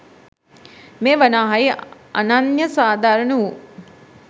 මේ වනාහි අනන්‍ය සාධාරණ වූ